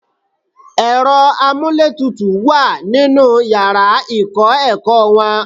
Ẹ̀rọ amúlétutù wà nínú yàrá ìkọ́-ẹ̀kọ́ wọn.